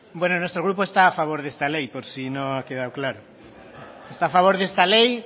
nuestro grupo está a favor de esta ley por si no ha quedado claro está a favor de esta ley